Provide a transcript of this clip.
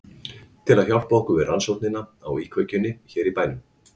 Til að hjálpa okkur við rannsóknina á íkveikjunum hér í bænum.